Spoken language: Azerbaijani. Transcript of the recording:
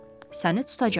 Səni tutacam.